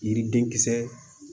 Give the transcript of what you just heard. Yiriden kisɛ